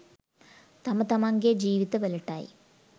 තම තමන්ගේ ජීවිතවලටයි.